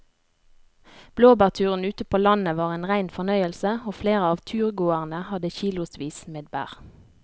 Blåbærturen ute på landet var en rein fornøyelse og flere av turgåerene hadde kilosvis med bær.